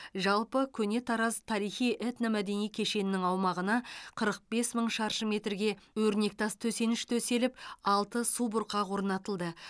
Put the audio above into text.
жалпы көне тараз тарихи этномәдени кешенінің аумағына қырық бес мың шаршы метрге өрнектас төсеніш төселіп алты субұрқақ орнатылды